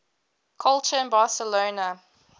culture in barcelona